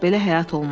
Belə həyat olmaz.